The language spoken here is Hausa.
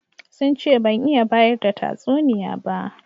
Sun ce ban iya bayar da tatsuniya ba.